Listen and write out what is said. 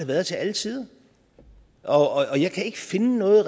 været til alle tider og jeg kan ikke finde noget